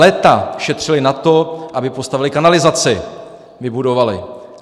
Léta šetřili na to, aby postavili kanalizaci, vybudovali.